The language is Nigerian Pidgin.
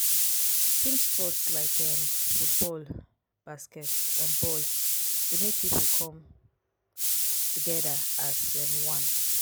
team sport like um football basket um ball dey make pipo come together as um one